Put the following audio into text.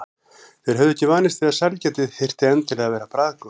Þeir höfðu ekki vanist því að sælgæti þyrfti endilega að vera bragðgott.